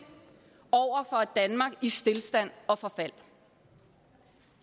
og et danmark i stilstand og forfald